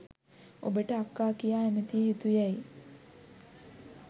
ඔබට අක්කා කියා ඇමතිය යුතු යැයි